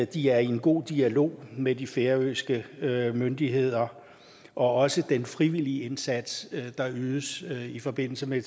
de er i en god dialog med de færøske myndigheder og at også den frivillige indsats der ydes i forbindelse med